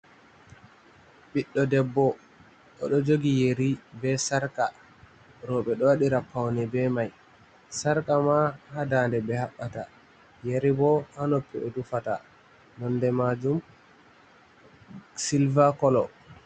Ɓiɗɗo debbo oɗo jogi yeri be sarka, roɓe ɗo waɗira paune be mai, sarka ma ha dande ɓe haɓɓata, yeri bo ha noppi ɓe tufata, nonde majum silva kolo.